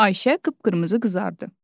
Ayşə qıpqırmızı qızardı.